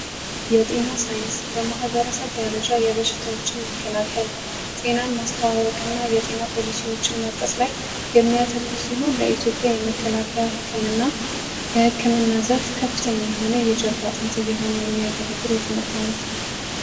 የማህበረሰብ ሳይንስ በሳይንስ ደረጃ የማህበረሰቡን ጤና ማወቅና የፖሊሲዎችን ማሳየት ላይ የሚያተኩር ሲሆን የኢትዮጵያ ህክምና የህክምና ዘርፍ የጀርባ አጥንት እየሆነ የሚያገለግለን የትምህርት ዓይነት ነው።